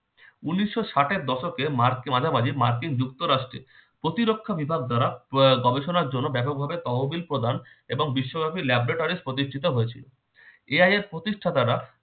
উনিশশো ষাটের দশকে মার্ক~ মাঝা মাঝি মার্কিন যুক্ত রাষ্টে প্রতিরক্ষা বিভাগ দ্বারা আহ গবেষণার জন্য ব্যাপকভাবে তহবিল প্রদান এবং বিশ্বব্যাপী laboratory প্রতিষ্ঠিত হয়েছিল। ইহা এর প্রতিষ্ঠাতারা